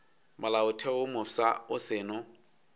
molaotheo wo mofsa o seno